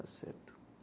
Está certo.